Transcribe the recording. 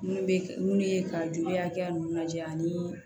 Munnu be mun ye ka joli hakɛya mun lajɛ ani